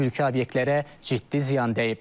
Mülki obyektlərə ciddi ziyan dəyib.